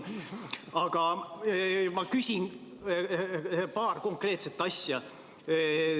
Aga ma küsin paar konkreetset asja.